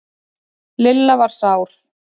Lilla var sár.